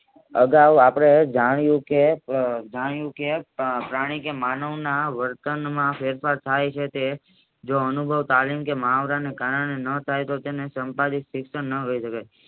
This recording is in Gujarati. અગાવ આપણે જાણતા કે પ્રાણી કે માનવના વર્તનમાં ફેરફાર થાય છે તે જે એનું ભાવ કાલીન કે મુહાવરા ના થાય તો તેને સંપાદિત શિક્ષણ ના